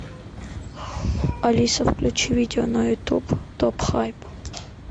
алиса включи видео на ютуб топ хайп